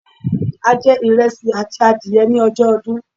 A je ìresì àti adìye ni ojó odún